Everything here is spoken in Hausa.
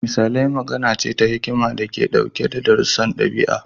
Misalai magana ce ta hikima da ke ɗauke da darussan ɗabi'a.